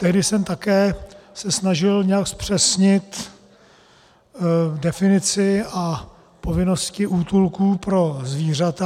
Tehdy jsem se také snažil nějak zpřesnit definici a povinnosti útulků pro zvířata.